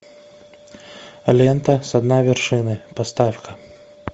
лента со дна вершины поставь ка